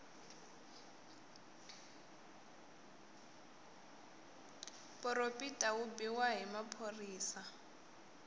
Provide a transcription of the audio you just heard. poropita yi biwa na hi maphorisa